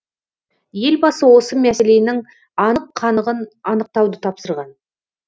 елбасы осы мәселенің анық қанығын анықтауды тапсырған